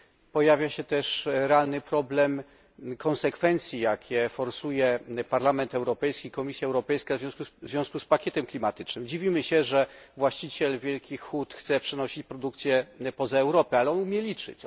Pojawia się też realny problem konsekwencji, jakie forsują Parlament Europejski i Komisja Europejska w związku z pakietem klimatycznym. Dziwimy się, że właściciel wielkich hut chce przenosić produkcję poza Europę, ale on umie liczyć.